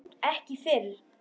Ekki fyrr!